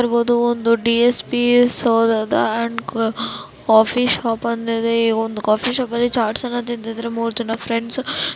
ಒಂದು coffee shop open ಇದೆ ಈ ಕಾಫಿ ಶಾಪ್ ಅಲ್ಲಿ ಮೂರ್ ಜನ ಫ್ರೆಂಡ್ಸ್ ಕೂತ್ಕೊಂಡು ಚಾಟ್ ತಿಂತಿದಾರೆ__